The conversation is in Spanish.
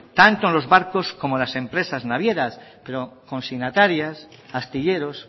tanto en los barcos como en las empresas navieras consignatarias astilleros